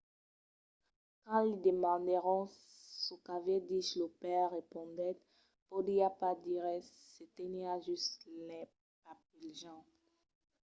quand li demandèron çò qu’aviá dich lo paire respondèt podiá pas dire res – se teniá just lai parpelejant.